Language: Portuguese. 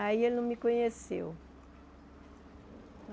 Aí ele não me conheceu.